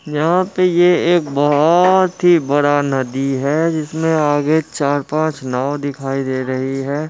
यहा पे ये एक ये बहोत ही बड़ा नदी है जिस में आगे चार पाच नाव दिखाई दे रही है।